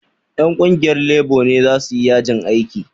Ƴan ƙungiyar lebo ne za su yi yajin aiki